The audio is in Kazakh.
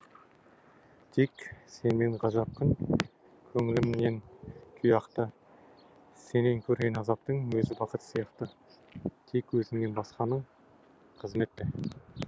тек сенімен ғажап күн көңілімнен күй ақты сенен көрген азаптың өзі бақыт сияқты тек өзіңнен басқаның қызмет пе